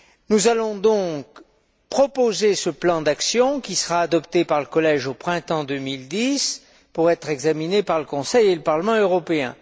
Nous allons donc proposer ce plan d'action, qui sera adopté par le Collège au printemps 2010, pour être examiné par le Conseil et par le Parlement européen.